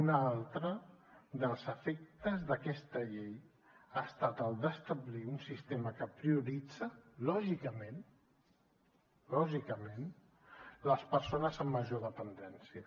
un altre dels efectes d’aquesta llei ha estat el d’establir un sistema que prioritza lògicament lògicament les persones amb major dependència